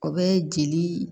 O bɛ jeli